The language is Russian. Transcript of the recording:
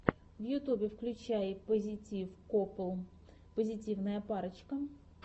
в ютюбе включай пазитив копл позитивная парочка